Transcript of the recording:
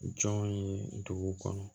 Jɔn ye dugu kɔnɔ